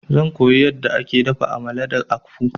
Zan koya yadda ake dafa Amala da akpu.